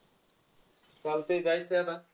चालतंय जायचं आहे आता.